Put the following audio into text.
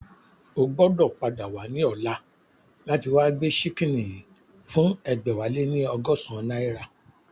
O gbọ́dọ̀ padà wá ní ọ̀la láti wá gbé ṣíkìnnì yìí fún ẹgbẹ̀wáléní ọgọ́san náírà